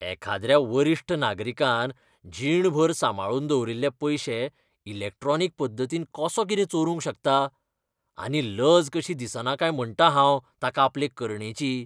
एखाद्र्या वरिश्ठ नागरिकान जीणभर सांबाळून दवरिल्ले पयशे इलॅक्ट्रॉनिक पद्दतीन कसो कितें चोरूंक शकता. आनी लज कशी दिसना काय म्हणटा हांव ताका आपले करणेची.